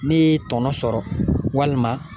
N'e ye tɔnɔ sɔrɔ walima